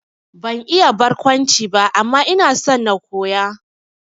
Ban iya barkwanci ba, amma ina so na koya